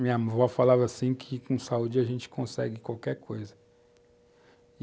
Minha avó falava assim que com saúde a gente consegue qualquer coisa.